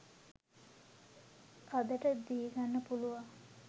අදට දීගන්න පුලුවන්